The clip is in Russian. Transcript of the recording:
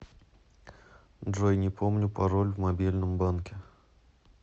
джой не помню пароль в мобильном банке